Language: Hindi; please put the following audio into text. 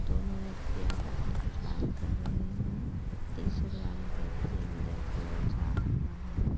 दोनों व्यक्ति आपस मे कुछ बात कर रहे हैं टी शर्ट वाला व्यक्ति अंदर की ओर जा रहा है।